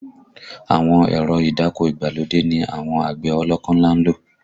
Àwọn èrọ ìdáko ìgbàlódé ni àwọn àgbẹ̀ ọlọ́kọ́ ńlá ń lò